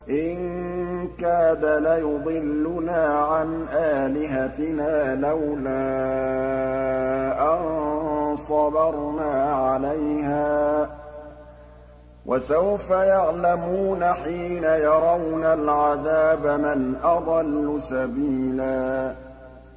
إِن كَادَ لَيُضِلُّنَا عَنْ آلِهَتِنَا لَوْلَا أَن صَبَرْنَا عَلَيْهَا ۚ وَسَوْفَ يَعْلَمُونَ حِينَ يَرَوْنَ الْعَذَابَ مَنْ أَضَلُّ سَبِيلًا